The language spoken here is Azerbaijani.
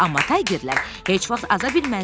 “Amma Taygerlər heç vaxt aza bilməzlər.”